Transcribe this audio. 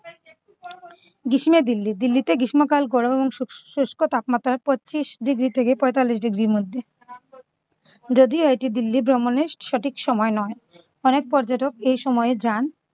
গ্রীষ্মে দিল্লি দিল্লিতে গ্রীষ্মকাল গরম এবং সু~ শুষ্ক তাপমাত্রায় পঁচিশ degree থেকে পঁয়তাল্লিশ degree র মধ্যে। যদিও এটি দিল্লি ভ্রমণের সঠিক সময় নয় অনেক পর্যটক এই সময় যান